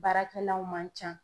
Baarakɛlaw man can.